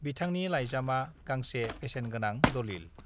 बिथांनि लाइजामा गांसे बेसेन गोनां दलिल